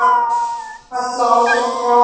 Falla aldrei frá.